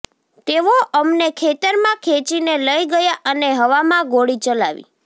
તેઓ અમને ખેતરમાં ખેંચીને લઈ ગયા અને હવામાં ગોળી ચલાવી